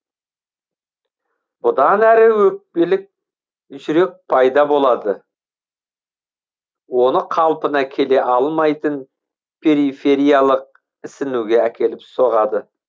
бұдан әрі өкпелік жүрек пайда болады оны қалпына келе алмайтын перифериялық ісінуге әкеліп соғады